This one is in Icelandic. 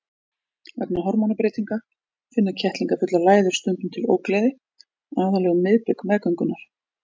Vegna hormónabreytinga finna kettlingafullar læður stundum til ógleði, aðallega um miðbik meðgöngunnar.